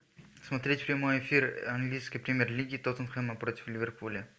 смотреть прямой эфир английской премьер лиги тоттенхэма против ливерпуля